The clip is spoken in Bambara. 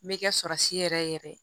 N bɛ kɛ yɛrɛ yɛrɛ ye